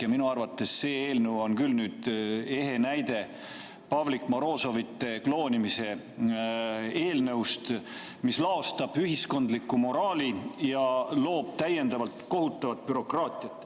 Ja minu arvates see eelnõu on küll ehe näide Pavlik Morozovite kloonimise eelnõust, mis laostab ühiskondlikku moraali ja loob täiendavalt kohutavat bürokraatiat.